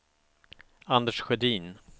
Anders Sjödin